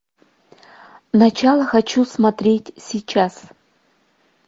начало хочу смотреть сейчас